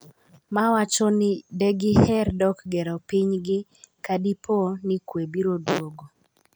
ma wacho ni de giher dok gero pinygi kadipo ni kwe biro duogo